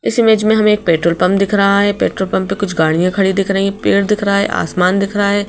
इस इमेज में हमें एक पेट्रोल पंप दिख रहा है पेट्रोल पंप पे कुछ गाढ़ियां खड़ी दिख रही है पेड़ दिख रहा है आसमान दिख रहा है।